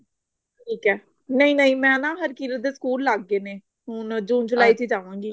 ਨਹੀਂ ਮੈਂ ਨੀ ਜਾਣਾ ਹਰਕੀਰਤ ਦੇ ਸਕੂਲ ਲੱਗ ਗਏ ਨੇ ਹੁਣ ਜੂਨ ਜੁਲਾਈ ਚ ਹੀ ਜਾਵਾਂਗੀ